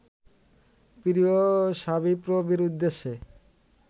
প্রিয় শাবিপ্রবির উদ্দেশে